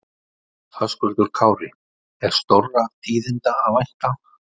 Höskuldur Kári: Er stórra tíðinda að vænta?